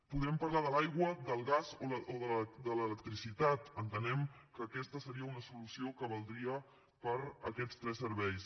podem parlar de l’aigua del gas o de l’electricitat entenem que aquesta seria una solució que valdria per a aquests tres serveis